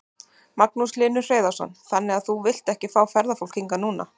Magnús Hlynur Hreiðarsson: Þannig að þú vilt ekki fá ferðafólk hingað núna?